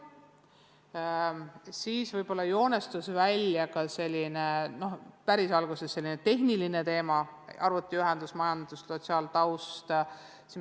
No päris alguses joonistusid välja ka sellised tehnilised teemad, näiteks arvutiühendus, majandus- ja sotsiaaltaustaga seonduv.